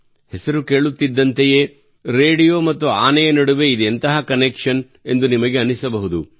ಹೆಸರು ಕೇಳುತ್ತಿದ್ದಂತೆಯೇ ರೇಡಿಯೋ ಮತ್ತು ಆನೆಯ ನಡುವೆ ಇದೆಂತಹ ಕನೆಕ್ಷನ್ ಎಂದು ನಿಮಗೆ ಅನಿಸಬಹುದು